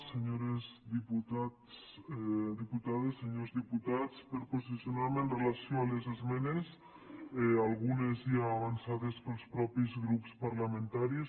senyores diputades senyors diputats per a posicionar me amb relació a les esmenes algunes ja avançades pels mateixos grups parlamentaris